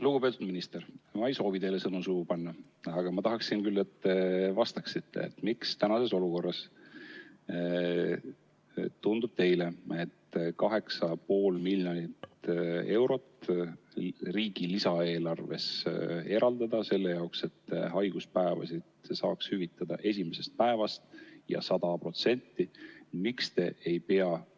Lugupeetud minister, ma ei soovi teile sõnu suhu panna, küll aga tahaksin ma, et te vastaksite, miks praeguses olukorras tundub teile, et 8,5 miljonit eurot riigi lisaeelarves eraldada selle jaoks, et haiguspäevasid hüvitada esimesest päevast alates ja 100% ulatuses,.